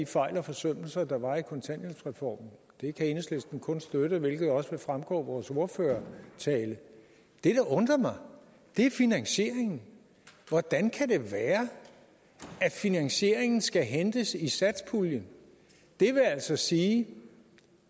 fejl og forsømmelser der var i kontanthjælpsreformen det kan enhedslisten kun støtte hvilket også vil fremgå af vores ordførertale det der undrer mig er finansieringen hvordan kan det være at finansieringen skal hentes i satspuljen det vil altså sige